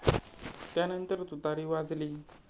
त्यानंतर तुतारी वाजली.